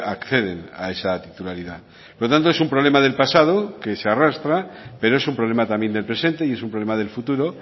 acceden a esa titularidad por lo tanto es un problema del pasado que se arrastra pero es un problema también del presente y es un problema del futuro